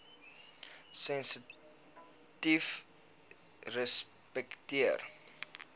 sensitiefrespekteer